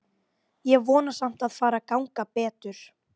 Ég vona samt að fari að ganga betur.